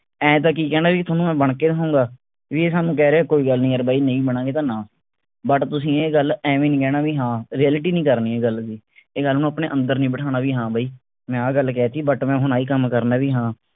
ਆਏਂ ਤਾਂ ਕਿ ਕਹਿਣੇ ਵੀ ਥੋਨੂੰ ਮੈਂ ਬਣ ਕੇ ਦਿਖਾਉਂਗਾ ਵੀ ਇਹ ਸਾਨੂੰ ਕਹਿ ਰਿਹੇ ਕੋਈ ਗੱਲ ਨਹੀਂ ਯਾਰ ਬਾਈ ਨਹੀਂ ਬਣਾਂਗੇ ਤਾਂ ਨਾ but ਤੁਸੀਂ ਇਹ ਗੱਲ ਐਵੇਂ ਨਹੀਂ ਕਹਿਣਾ ਵੀ ਹਾਂ reality ਨਹੀਂ ਕਰਨੀ ਇਹ ਗੱਲ ਦੀ ਇਹ ਗੱਲ ਨੂੰ ਆਪਣੇ ਅੰਦਰ ਨਹੀਂ ਬਿਠਾਣਾ ਵੀ ਹਾਂ ਬਾਈ ਮੈਂ ਆਹ ਗੱਲ ਕਹਿ ਤੀ but ਮੈਂ ਹੁਣ ਆਹੀ ਕੰਮ ਕਰਨੇ ਵੀ ਹਾਂ